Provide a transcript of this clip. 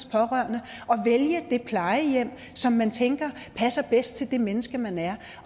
pårørende og vælge det plejehjem som man tænker passer bedst til det menneske man er